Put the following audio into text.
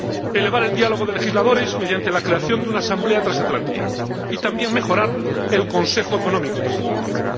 elevar el diálogo de legisladores mediante la creación de una asamblea transatlántica y también mejorar el Consejo Económico Transatlántico.